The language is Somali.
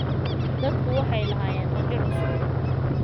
Dadku waxay lahaayeen rajo cusub.